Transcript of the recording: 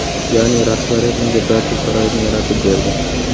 Ya’ni, rahbariyat unga barcha sharoitni yaratib berdi.